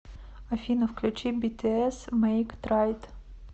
афина включи бтс мэйк трайт